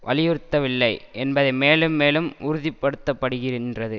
வலியுறுத்தவில்லை என்பது மேலும் மேலும் உறுதிப்படுத்தப்படுகின்றது